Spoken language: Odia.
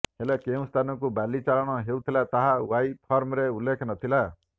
ହେଲେ କେଉଁ ସ୍ଥାନକୁ ବାଲି ଚାଲାଣ ହେଉଥିଲା ତାହା ୱାଇ ଫର୍ମରେ ଉଲ୍ଲେଖ ନଥିଲା